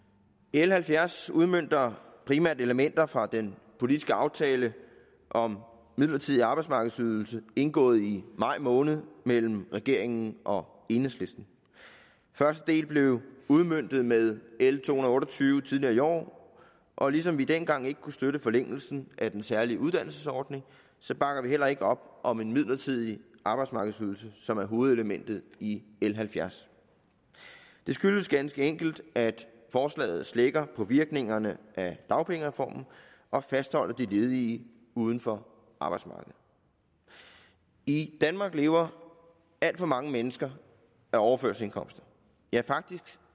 l halvfjerds udmønter primært elementer fra den politiske aftale om midlertidig arbejdsmarkedsydelse indgået i maj måned mellem regeringen og enhedslisten første del blev udmøntet med l to hundrede og otte og tyve tidligere i år og ligesom vi dengang ikke kunne støtte forlængelsen af den særlige uddannelsesordning bakker vi heller ikke op om en midlertidig arbejdsmarkedsydelse som er hovedelementet i l halvfjerds det skyldes ganske enkelt at forslaget slækker på virkningerne af dagpengereformen og fastholder de ledige uden for arbejdsmarkedet i danmark lever alt for mange mennesker af overførselsindkomster ja faktisk